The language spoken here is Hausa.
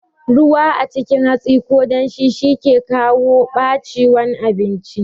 Ruwa a cikin hatsi ko damshi shi yake kawo ɓaciwan abinci